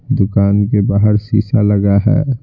दुकान के बाहर शीशा लगा है।